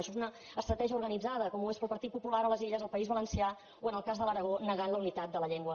això és una estratègia organitzada com ho és pel partit popular a les illes al país valencià o en el cas de l’aragó que neguen la unitat de la llengua